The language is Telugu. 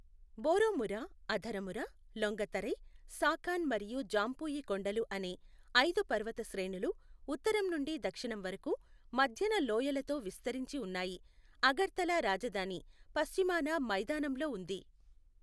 బోరోమురా, అథరముర, లొంగతరై, సాఖాన్ మరియు జాంపుయి కొండలు అనే ఐదు పర్వత శ్రేణులు ఉత్తరం నుండి దక్షిణం వరకు, మధ్యన లోయలతో విస్తరించి ఉన్నాయి, అగర్తలా రాజధాని పశ్చిమాన మైదానంలో ఉంది.